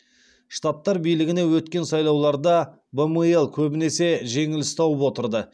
штаттар билігіне өткен сайлауларда бмл көбінесе жеңіліс тауып отырды